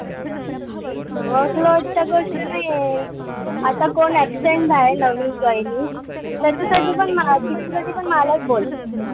Workload च गोष्ट नाईये. आता कोण absent राहील नवीन joinee त्याच्यासाठी पण माझी त्याच्यासाठी पण मलाच बोलते.